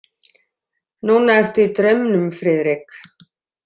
Núna ertu í draumnum, Friðrik?